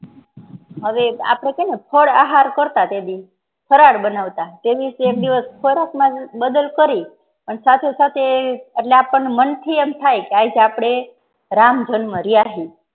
હવે આપડે છેને ફળ આહાર કરતા તે દી ફરાળ બનાવતા તેવી એક દીવસ ખોરાક માં બદલ કરી સાથે સાથે એટલે આપણને મન થી એમ થાઈ કે આજે આપડે રામ જન્મ રાયહિ